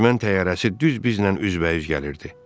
Düşmən təyyarəsi düz bizlə üzbəüz gəlirdi.